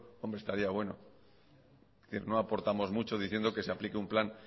hombre estaría bueno es decir no aportamos mucho diciendo que se aplique un plan